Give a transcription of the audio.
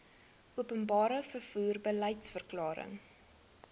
openbare vervoer beliedsverklaring